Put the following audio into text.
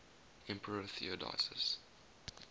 emperor theodosius